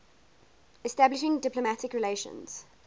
establishing diplomatic relations